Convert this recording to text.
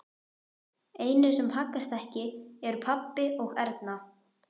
Einu sem haggast ekki eru pabbi og Erna.